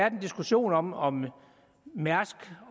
en diskussion om om mærsk